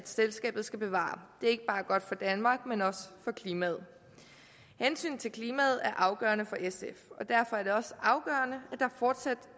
selskabet skal bevare det er ikke bare godt for danmark men også for klimaet hensynet til klimaet er afgørende for sf og derfor er det også afgørende